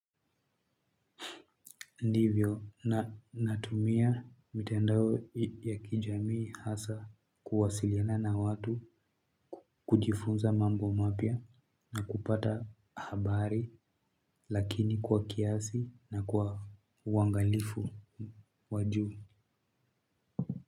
Ndivyo natumia mitendao ya kijamii hasa kuwasiliana na watu, kujifunza mambo mapya na kupata habari lakini kwa kiasi na kwa uwangalifu wa juu.